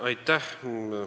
Aitäh!